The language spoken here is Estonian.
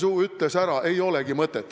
Lapsesuu ütles ära, ei olegi mõtet.